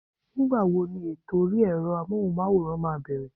Nígbà wo ni ètò orí ẹ̀rọ Amóhùnmáwòrán máa bẹ̀rẹ̀?